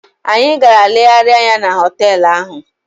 Anyị gara legharịa anya na họteelụ ahụ.